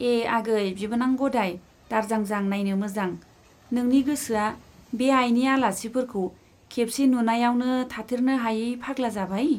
ए आगै बिबोनां गदाय, दारजांजां नाइनो मोजां, नोंनि गोसोआ बे आइनि आलासिफोरखौ खेबसे नुनाइयावनो थाथेरनो हायै फाग्ला जाबाय ?